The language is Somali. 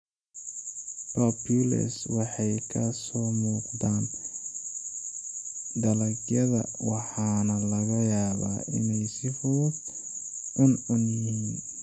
Papules waxay ka soo muuqdaan dalagyada waxaana laga yaabaa inay si fudud cuncun yihiin.